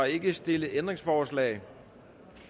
ikke stillet ændringsforslag